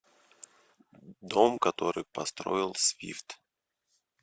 дом который построил свифт